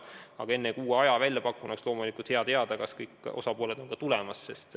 Aga enne, kui uue aja välja pakun, oleks loomulikult hea teada, kas kõik osapooled on tulemas.